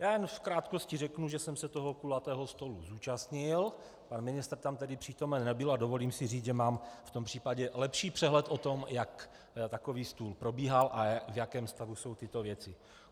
Já jen v krátkosti řeknu, že jsem se toho kulatého stolu zúčastnil, pan ministr tam tedy přítomen nebyl, a dovolím si říci, že mám v tom případě lepší přehled o tom, jak takový stůl probíhal a v jakém stavu jsou tyto věci.